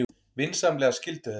Vinsamlegast skildu þetta.